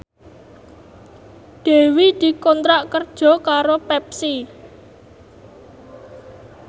Dewi dikontrak kerja karo Pepsi